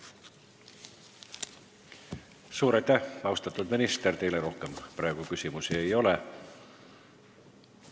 Suur aitäh, austatud minister, teile rohkem praegu küsimusi ei ole.